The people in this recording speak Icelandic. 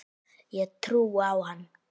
Ég trúði á hann.